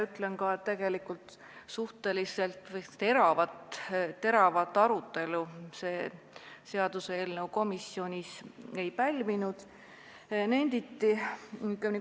Ütlen ka, et tegelikult see seaduseelnõu komisjonis teravat arutelu ei pälvinud.